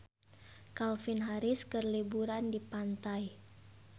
Calvin Harris keur liburan di pantai